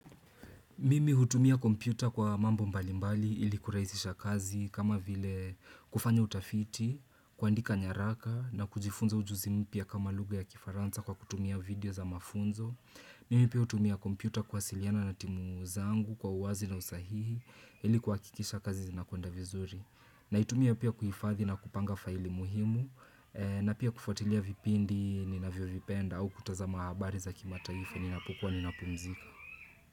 Mimi hutumia kompyuta kwa mambo mbalimbali ili kurahisisha kazi kama vile kufanya utafiti, kuandika nyaraka na kujifunza ujuzi mpya kama lugha ya kifaranza kwa kutumia video za mafunzo. Mimi pia hutumia kompyuta kuwasiliana na timu zangu kwa uwazi na usahihi ili kuhakikisha kazi zinakwenda vizuri. Na itumia pia kuhifadhi na kupanga faili muhimu na pia kufuatilia vipindi ni navyo vipenda au kutazama habari za kimataifa ninapokuwa ninapumzika.